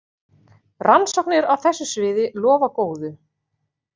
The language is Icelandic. Rannsóknir á þessu sviði lofa góðu.